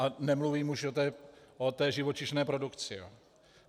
A nemluvím už o té živočišné produkci.